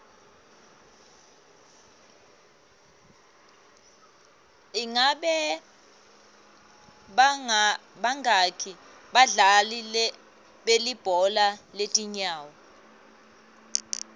ingabe bangaki badlali belibhola letinyawo